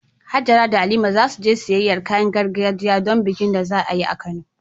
Hajara da Halima za su je siyayyar kayan gargajiya don bikin da za a yi a Kano.